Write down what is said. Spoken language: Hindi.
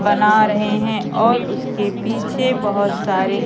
बना रहे हैं और उसके पीछे बहोत सारे--